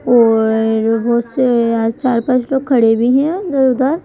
और अ अ बहुत से आज चार पांच लोग खड़े भी हैं इधर-उधर।